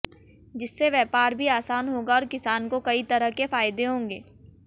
जिससे व्यापार भी आसान होगा और किसान को कई तरह के फायदे होंगे